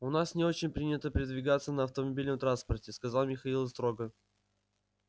у нас не очень принято передвигаться на автомобильном транспорте сказал михаил строго